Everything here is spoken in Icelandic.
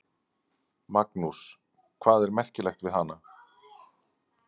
Magnús: Hvað er merkilegt við hana?